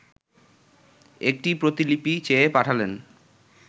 একটি প্রতিলিপি চেয়ে পাঠালেন